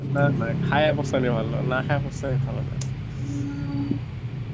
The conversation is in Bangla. না না খেয়ে পস্তালে ভালো, না খেয়ে পস্তানো ভালো নয়